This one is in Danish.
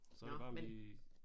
Så er det bare vi